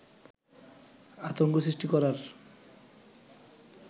আতঙ্ক সৃষ্টি করার